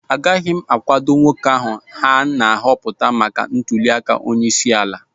Agaghị m akwado nwoke ahụ na-apụta maka ntuliaka onyeisi ala